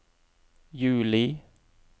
juli